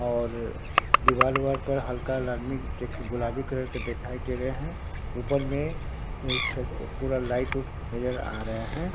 और दीवाल वार पर हल्का गुलाबी कलर का दिखाई दे रहे हैं ऊपर में पूरा लाइट वाइट नजर आ रहे हैं।